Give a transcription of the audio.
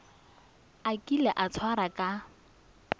a kile a tshwarwa ka